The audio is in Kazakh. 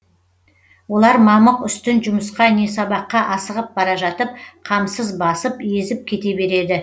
олар мамық үстін жұмысқа не сабаққа асығып бара жатып қамсыз басып езіп кете береді